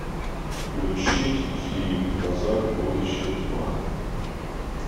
включить фильм назад в будущее два